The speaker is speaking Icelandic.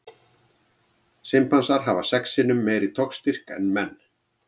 Simpansar hafa sex sinnum meiri togstyrk en menn.